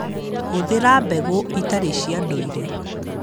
Hũthĩra mbegũ itarĩ cia ndũire